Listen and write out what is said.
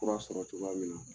Fura sɔrɔ cogoya min na